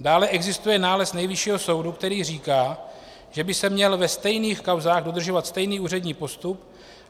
Dále existuje nález Nejvyššího soudu, který říká, že by se měl ve stejných kauzách udržovat stejný úřední postup.